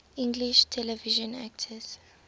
english television actors